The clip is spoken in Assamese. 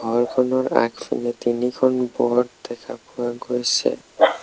ঘৰখনৰ আগফালে তিনিখন ব'ৰ্ড দেখা পোৱা গৈছে।